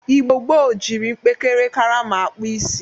Igbo gboo jiri mpekere karama akpụ isi.